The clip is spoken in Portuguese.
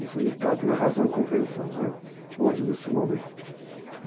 Isso me cabe na razão e compreensão, né, hoje, nesse momento.